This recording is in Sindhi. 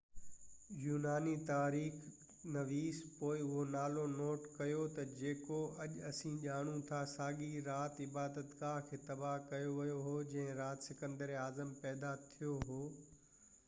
يوناني تواريخ نويس پوءِ اهو نالو نوٽ ڪيو تہ جيڪو اڄ اسين ڄاڻو ٿا ساڳئي رات عبادت گاه کي تباه ڪيو ويو هو جنهن رات سڪندر اعظم پيدا ٿيو هو